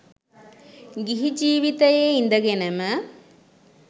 ගිහි ජීවිතයේ ඉඳගෙනම